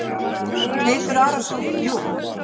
Teitur Arason: Jú.